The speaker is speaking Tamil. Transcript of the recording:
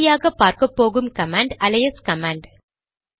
கடைசியாக பார்க்கப்போகும் கமாண்ட் அலையஸ் கமாண்ட்